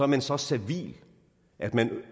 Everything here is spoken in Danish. man så servil at man